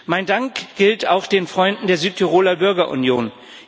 Mein Dank gilt auch den Freunden der Südtiroler Bürgerunion.